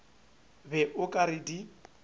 be o ka re di